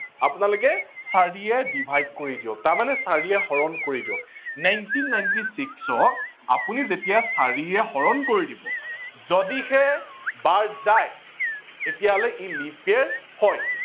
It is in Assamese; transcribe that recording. আপোনালোকে চাৰিয়ে divide কৰি দিওক তাৰমানে চাৰিয়ে হৰন কৰি দিওক nineteen ninety six ক আপোনি যেতিয়া চাৰিয়ে হৰন কৰি দিব যদিহে বাৰ যায় তেতিয়া সি leap year হয়